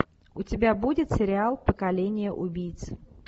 у тебя будет сериал поколение убийц